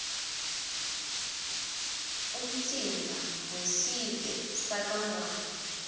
umtsimba wesive sakangwane